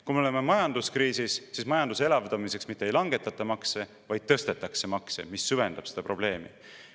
Kui me oleme majanduskriisis, siis majanduse elavdamiseks mitte ei langetata makse, vaid tõstetakse makse, mis süvendab seda probleemi.